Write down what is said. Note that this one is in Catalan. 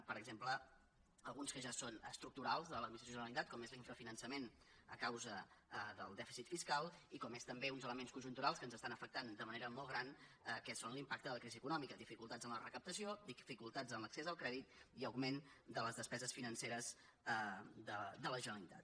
per exemple alguns que ja són estructurals de l’administració de la generalitat com és l’infrafinançament a causa del dèficit fiscal i com són també uns elements conjunturals que ens afecten de manera molt gran que són l’impacte de la crisi econòmica dificultats en la recaptació dificultats en l’accés al crèdit i augment de les despeses financeres de la generalitat